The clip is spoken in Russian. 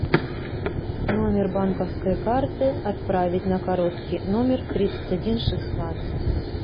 номер банковской карты отправить на короткий номер тридцать один шестнадцать